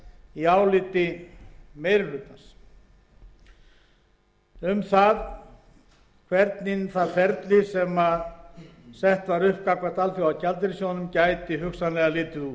í áliti meiri hlutans um það hvernig það ferli sem sett var upp gagnvart alþjóðagjaldeyrissjóðnum gæti hugsanlega litið út það